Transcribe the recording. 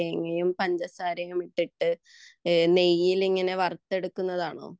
തേങ്ങയും പഞ്ചസാരയും ഇട്ടിട്ട് നെയ്യിൽ ഇങ്ങനെ വറുത്തെടുക്കുന്നതാണോ